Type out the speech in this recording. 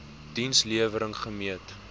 diens lewering gemeet